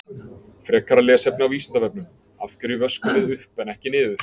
Frekara lesefni á Vísindavefnum: Af hverju vöskum við upp en ekki niður?